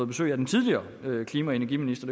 besøg af den tidligere klima og energiminister